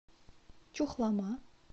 чухлома